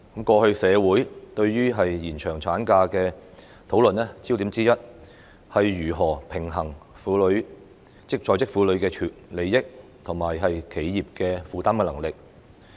過去社會對於延長產假的討論焦點之一，是如何平衡在職婦女的利益，以及企業負擔的能力。